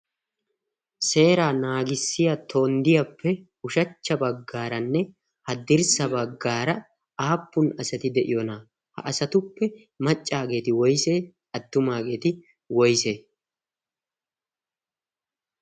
seeraa naagissiyaa tonddiyaappe uushshacha baggaaranne haddirssa baggaara aappun asati diyoona? ha asatuppe maccaageti woysee? attumaageti woysee?